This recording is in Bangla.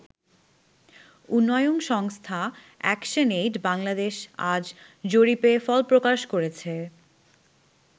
উন্নয়ন সংস্থা অ্যাকশন এইড-বাংলাদেশ আজ জরিপের ফল প্রকাশ করেছে।